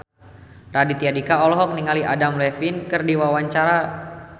Raditya Dika olohok ningali Adam Levine keur diwawancara